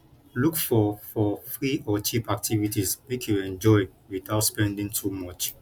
look for for free or cheap activities make you enjoy witout spending too much